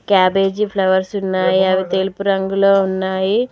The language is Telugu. క్యాబేజీ ఫ్లవర్స్ ఉన్నాయి అవి తెలుపు రంగులో ఉన్నాయి.